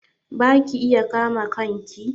Ba ki iya kama kanki?